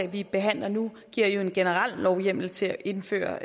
vi behandler nu giver en generel lovhjemmel til at indføre